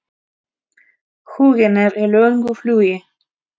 Huginn er í löngu flugi.